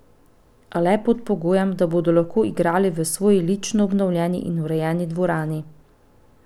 A le pod pogojem, da bodo lahko igrali v svoji lično obnovljeni in urejeni dvorani.